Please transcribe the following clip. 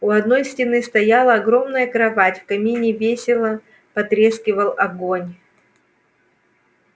у одной стены стояла огромная кровать в камине весело потрескивал огонь